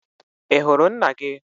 I hụrụ nna gị?